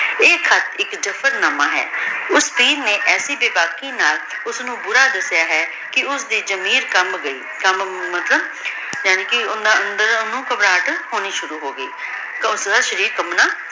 ਈਯ ਖ਼ਤ ਏਇਕ ਜਬਰ ਨਾਮਾ ਹੈ ਓਸ੍ਨੀ ਐਸੀ ਬੇਬਾਕੀ ਨਾਲ ਓਸਨੂ ਬੁਰਾ ਦਸ੍ਯ ਹੈ ਕੇ ਓਸਦੀ ਜ਼ਮੀਰ ਕਮਬ ਗਈ ਕਾਮ ਮਾਤ੍ਕ੍ਲਾਬ ਯਾਨੀ ਕੇ ਅੰਦਰੋਂ ਓਹਨੁ ਘਬਰਾਹਟ ਹੋਣੀ ਸ਼ੁਰੂ ਹੋਗੀ ਓਸਦਾ ਸ਼ਰੀਰ ਕਾਮ੍ਬ੍ਨਾ